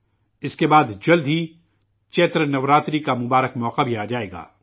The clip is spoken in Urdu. اسکے بعد، جلد ہی چیتر نوراتری کا مقدس موقع بھی آ جائے گا